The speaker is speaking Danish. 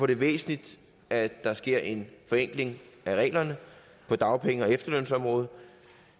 det væsentligt at der sker en forenkling af reglerne på dagpenge og efterlønsområdet